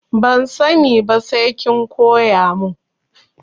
Ban sani ba sai kin koya mun.